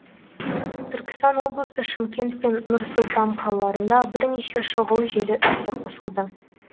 түркістан облысы шымкент пен нұр сұлтан қалаларында бірнеше шұғыл желі іске қосылды